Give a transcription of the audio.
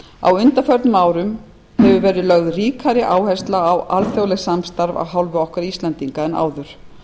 á undanförnum árum hefur verið lögð ríkari áhersla á alþjóðlegt samstarf af hálfu okkar íslendinga en áður